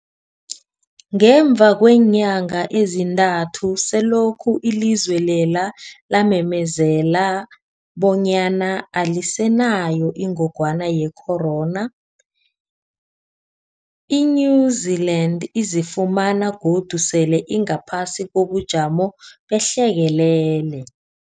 Ngemva kweenyanga ezintathu selokhu ilizwe lela lamemezela bonyana alisenayo ingogwana ye-corona, i-New-Zealand izifumana godu sele ingaphasi kobujamo behlekelele.